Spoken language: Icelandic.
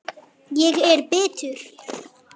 Enn fleiri spor.